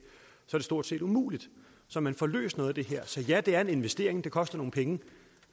stort set umuligt så man får løst noget af det her så ja det er en investering det koster nogle penge